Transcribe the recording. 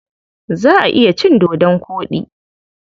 Za a iya cin dodon koɗi.